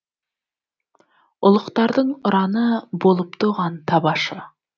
ұлықтардың ұраны болыпты оған табашы